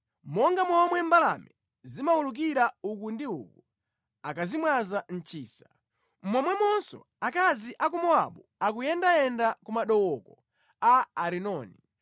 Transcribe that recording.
Monga momwe mbalame zimawulukira uku ndi uku akazimwaza mʼchisa, momwemonso akazi a ku Mowabu akuyendayenda ku madooko a Arinoni.